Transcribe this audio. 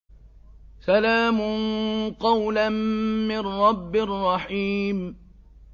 سَلَامٌ قَوْلًا مِّن رَّبٍّ رَّحِيمٍ